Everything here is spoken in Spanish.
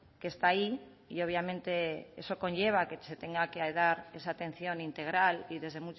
que está ahí y obviamente eso conlleva que se tenga que dar esa atención integral y desde